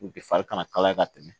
U bi fari kana kalaya ka tɛmɛ